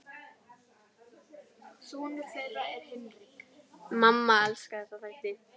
Mamma elskar þessa þætti.